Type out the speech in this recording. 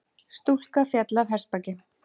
Stúlka féll af hestbaki